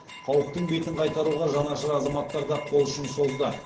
қауіптің бетін қайтаруға жанашыр азаматтар да қол ұшын созды